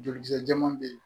Jolikisɛ jɛman bɛ ye